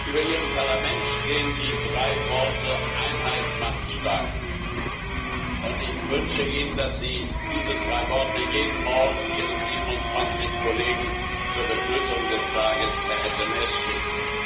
Über Ihrem Parlament stehen die drei Worte Einheit macht stark. Ich wünsche Ihnen, dass Sie diese drei Worte jeden Morgen Ihren 27 Kollegen zur Begrüßung des Tages per SMS schicken.